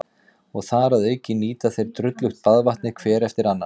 Og þar að auki nýta þeir drullugt baðvatnið hver eftir annan.